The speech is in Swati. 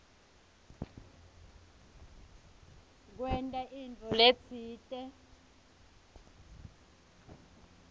kwenta intfo letsite